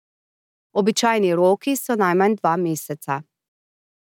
Običajni roki so najmanj dva meseca.